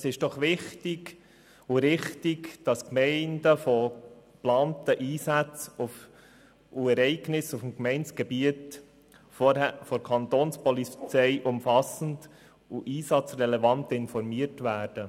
Es ist doch wichtig und richtig, dass die Gemeinden über Ereignisse und geplante Einsätze auf dem Gemeindegebiet von der Kapo umfassend und einsatzrelevant informiert werden.